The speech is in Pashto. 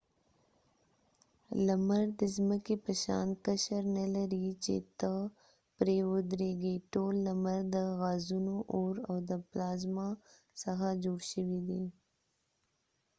لمر د څمکې په شان قشر نه لري چې ته پری ودرېږی ټول لمر د غازونو اور او د پلازما څخه جوړ شوي دي